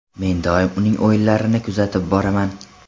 Men doim uning o‘yinlarini kuzatib boraman.